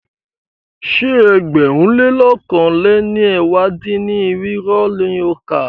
Ṣé ẹgbẹ̀rún lé lọ̀kan lé ní ẹ̀wá dín-ní-irinwó ni o kà?